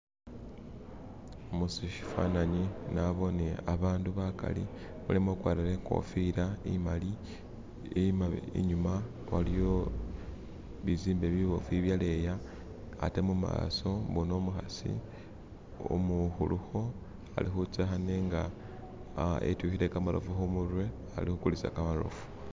Mushifananyi nabone abantu bagali, mulimo ugwatile inkofila imali inyuma waliwo bizimbe bibofu ibyaleya ate mumaso mulimo umukasi umukuluko alikuzeka nenga itwikile gamatofu kumutwe alikugulisa gamatofu.